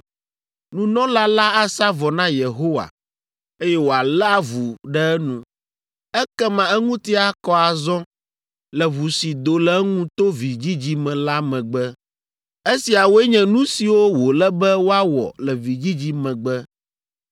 nunɔla la asa vɔ na Yehowa, eye wòalé avu ɖe enu. Ekema eŋuti akɔ azɔ le ʋu si do le eŋu to vidzidzi me la megbe. “ ‘Esiawoe nye nu siwo wòle be woawɔ le vidzidzi megbe.